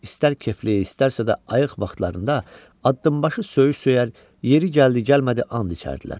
İstər kefli, istərsə də ayıq vaxtlarında addımbaşı söyüş söyər, yeri gəldi-gəlmədi and içərdilər.